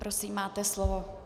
Prosím, máte slovo.